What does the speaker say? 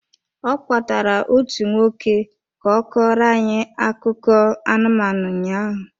Ọ kpọtaara otu nwoke ka ọ kọọrọ anyị akụkọ anụmanụ ụnyaahụ.